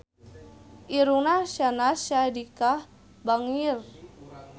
Irungna Syahnaz Sadiqah bangir